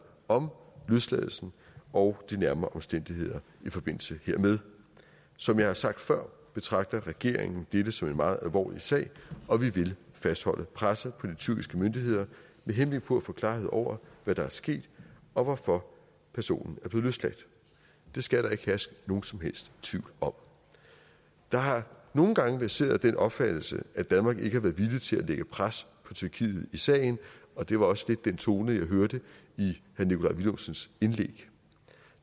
om løsladelsen og de nærmere omstændigheder i forbindelse hermed som jeg har sagt før betragter regeringen dette som en meget alvorlig sag og vi vil fastholde presset på de tyrkiske myndigheder med henblik på at få klarhed over hvad der er sket og hvorfor personen er blevet løsladt det skal der ikke herske nogen som helst tvivl om der har nogle gange verseret den opfattelse at danmark ikke har været villig til at lægge pres på tyrkiet i sagen og det var også lidt den tone jeg hørte i herre nikolaj villumsens indlæg